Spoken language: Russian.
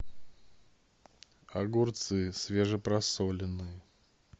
огурцы свеже просоленные